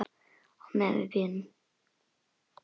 Meðan við bíðum.